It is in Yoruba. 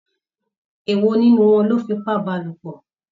Èwò nínú wọn lọ fipá bálòpọ̀?